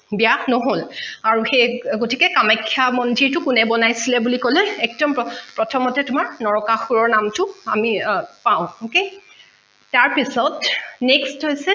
বিয়া নহল আৰু সেই গতিকে কামাখ্যা মন্দিৰটো কোনে বনাইছিলে বুলি কলে একদম প্ৰথমতে তোমাৰ নৰকাসুৰৰ নামটো আমি পাঁও okay তাৰ পিছত next হৈছে